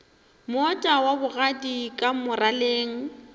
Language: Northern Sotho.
moota wa bogadi ka moraleng